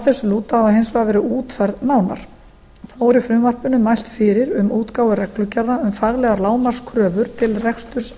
þessu lúta hafa hins vegar verið útfærð nánar þá er í frumvarpinu mælt fyrir um útgáfu reglugerða um faglegar lágmarkskröfur til reksturs heilbrigðisþjónustu